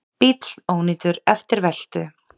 Bíll ónýtur eftir veltu